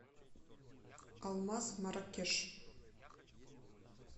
алмаз марракеш